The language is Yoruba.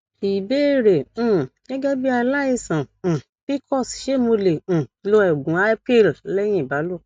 ìbéèrè um gegebi alaisan um pcos ṣé mo lè um lo oògùn ipill lẹyìn ìbálòpọ